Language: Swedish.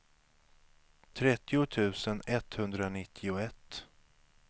trettio tusen etthundranittioett